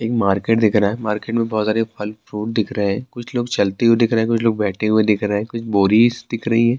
ایک مارکیٹ دکھ رہا ہے، مارکیٹ مے بہت سارے پھل فروٹ دکھ رہی ہیں ،کچھ لوگ چلتے ہوئے دکھ رہی ہیں ، کچھ بوریس دکھ رہی ہیں-